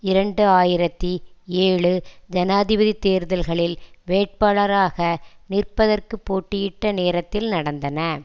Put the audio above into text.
இரண்டு ஆயிரத்தி ஏழு ஜனாதிபதி தேர்தல்களில் வேட்பாளாரக நிற்பதற்கு போட்டியிட்ட நேரத்தில் நடந்தன